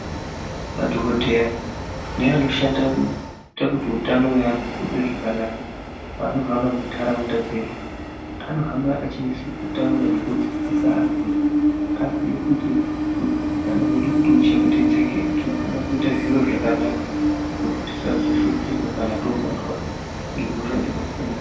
Madhogodheya neanoshandira kuitira kuti utano hwevantu uzwe zvakanaka panohamba muntaraunda dzedu. Anohamba achinase kutaura nekudzidzisa antu kuti aziye kuti utano hwedu kuti uchengetedzeke unofana kuita zviro zvakanaka. Kuti tisazoshupika kana tobatwa ngehosha dzakasiyana-siyana.